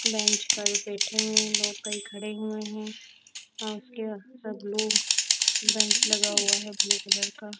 bench पर बैठे हुए लोग कई खड़े हुए हैं और उसके सब लोग बैंच लगा हुआ है ब्लू कलर का